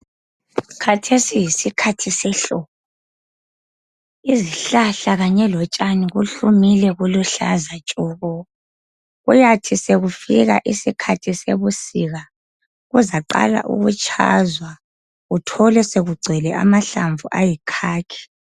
Khathesi yisikhathi sehlobo. Izihlahla kanye lotshani kuhlumile eziluhlaza tshoko. Kuyathi sekufika isikhathi sebusika kuzaqala ukutshazwa uthole sekugcwele amahlamvu ayikhakhi.